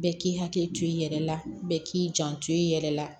Bɛɛ k'i hakili to i yɛrɛ la bɛɛ k'i janto i yɛrɛ la